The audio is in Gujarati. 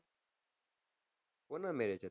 કોના marriage હતા